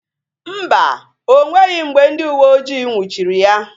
Mba, o nweghị mgbe ndị uweojii nnwuchiri ya